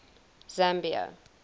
zambia